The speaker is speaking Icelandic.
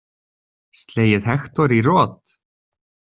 Slegið Hektor í rot?